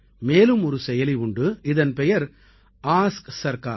மேலும் ஒரு செயலி உண்டு இதன் பெயர் ஆஸ்க் சர்கார்